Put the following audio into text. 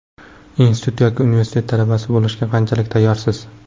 Institut yoki universitet talabasi bo‘lishga qanchalik tayyorsiz?